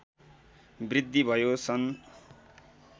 वृद्धि भयो सन्